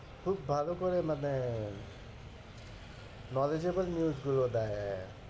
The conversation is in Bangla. খুব ভালো করে মানে knowledgeable news গুলো দেয়।